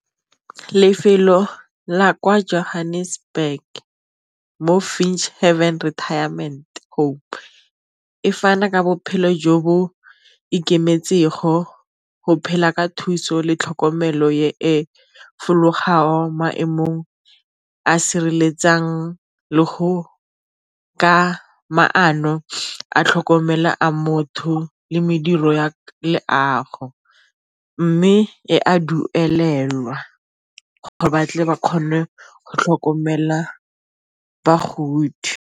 Lefelo la kwa Johannesburg mo haven retirement home e fana ka bophelo jo bo ikemetsenggo go phela ka thuso le tlhokomelo e fologang maemong a sireletsang le go ka maano a tlhokomela a motho le mediro ya leago, mme e a duelelwa gore batle ba kgone go tlhokomela bagodi.